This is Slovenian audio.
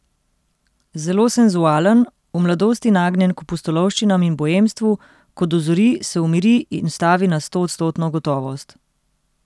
Zelo senzualen, v mladosti nagnjen k pustolovščinam in boemstvu, ko dozori, se umiri in stavi na stoodstotno gotovost.